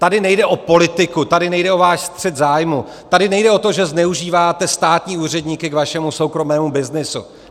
Tady nejde o politiku, tady nejde o váš střet zájmů, tady nejde o to, že zneužíváte státní úředníky k vašemu soukromému byznysu.